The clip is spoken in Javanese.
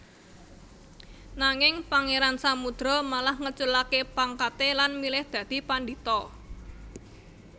Nanging Pangeran Samudro malah ngeculake pangkate lan milih dadi pandhita